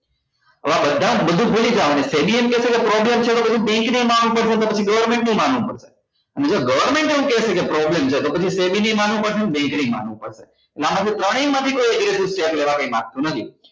હવે આ બધા બધું ભૂલી જવા નું છે problem એમ કેસે કે bank છે તો પછી એ માનવું પડશે ને પછી government ને એ માનવું પડશે અને જો government એમ કહશે કે problem છે તો એ માનવું પડશે ને bank ને માનવું પડશે અને આમાં થી ત્રણેય માંથી કોઈ કરાવે લાગતું નથી